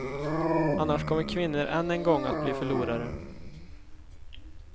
Annars kommer kvinnor än en gång att bli förlorare.